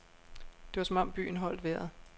Det var som om byen holdt vejret.